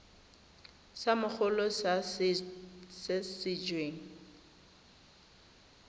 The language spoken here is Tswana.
sa mogolo sa se weng